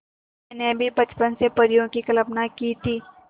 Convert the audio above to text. मैंने भी बचपन से परियों की कल्पना की थी